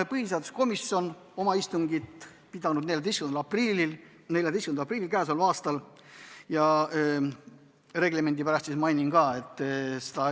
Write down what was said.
Põhiseaduskomisjon pidas sellekohase istungi 14. aprillil.